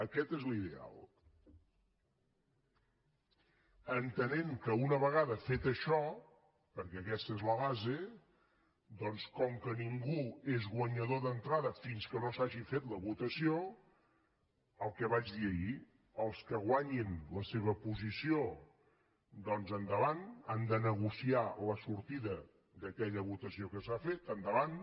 aquest és l’ideal entenent que una vegada fet això perquè aquesta és la base doncs com que ningú és guanyador d’entrada fins que no s’hagi fet la votació el que vaig dir ahir els que guanyin la seva posició doncs endavant han de negociar la sortida d’a quella votació que s’ha fet endavant